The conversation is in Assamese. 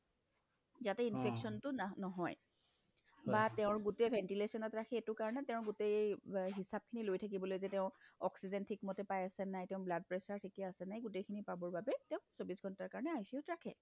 যাতে infectionটো না নহয় বা তেওঁৰ গোটেই ventilation ত ৰাখি এইটো কাৰণে তেওঁৰ গোটেই অব্ হিচাপখিনি লৈ থাকিবলৈ যে তেওঁ oxygen ঠিকমতে পাই আছেনে নাই blood pressure ঠিকে আছেনে এই গোটেই খিনি পাবৰ বাবে তেওঁক চৌবিশ ঘণ্টা ICU ৰাখে